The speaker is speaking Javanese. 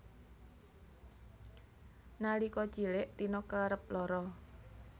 Nalika cilik Tina kerep lara